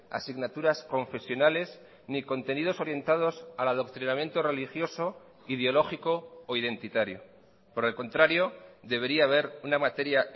asignaturas confesionales ni contenidos orientados al adoctrinamiento religioso ideológico o identitario por el contrario debería haber una materia